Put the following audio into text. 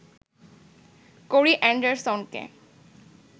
কোরি এণ্ডারসনকে